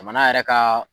Jamana yɛrɛ ka